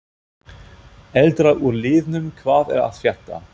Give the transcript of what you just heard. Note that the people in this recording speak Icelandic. Eldra úr liðnum hvað er að frétta?